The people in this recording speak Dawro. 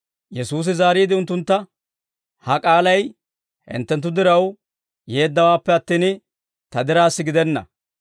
Yesuusi zaariide unttuntta, «Ha k'aalay hinttenttu diraw yeeddawaappe attin, Ta diraassa gidenna.